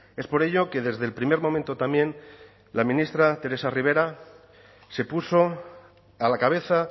es por ello que desde el primer momento también la ministra teresa rivera se puso a la cabeza